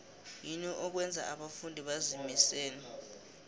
yini okwenza abafundi bazimisele